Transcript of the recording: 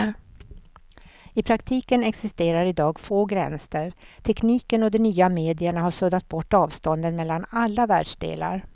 I praktiken existerar i dag få gränser, tekniken och de nya medierna har suddat bort avstånden mellan alla världsdelar.